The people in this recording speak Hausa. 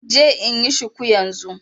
Zan je inyi shuku yanzun nan